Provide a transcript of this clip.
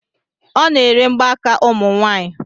Ọ na-ere mgbaaka ụmụ nwanyị